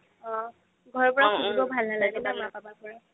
অহ ঘৰৰ পা খুজিব ভাল নালাগে ন মা papa ৰ পৰা